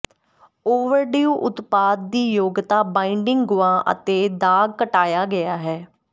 overdue ਉਤਪਾਦ ਦੀ ਯੋਗਤਾ ਬਾਈਡਿੰਗ ਗੁਆ ਅਤੇ ਦਾਗ ਘਟਾਇਆ ਗਿਆ ਹੈ